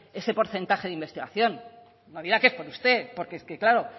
este porcentaje de investigación no dirá que es por usted porque es que claro